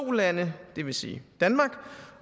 lande det vil sige danmark